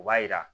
O b'a jira